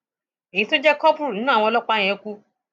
èyí tó jẹ kọburú nínú àwọn ọlọpàá yẹn kú